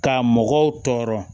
Ka mɔgɔw tɔɔrɔ